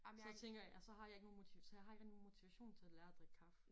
Så tænker jeg jeg så har jeg ikke nogen så jeg har ikke rigtig nogen motivation til at lære at drikke kaffe